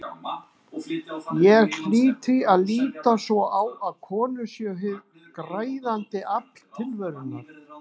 Ég hlýt því að líta svo á að konur séu hið græðandi afl tilverunnar.